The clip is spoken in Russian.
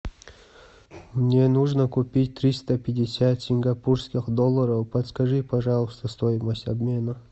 мне нужно купить триста пятьдесят сингапурских долларов подскажи пожалуйста стоимость обмена